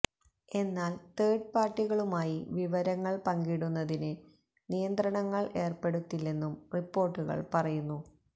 എന്നാല് തേര്ഡ് പാര്ട്ടികളുമായി വിവരങ്ങള് പങ്കിടുന്നതിന് നിയന്ത്രണങ്ങള് ഏര്പ്പെടുത്തില്ലെന്നും റിപ്പോർട്ടുകൾ പറയുന്നു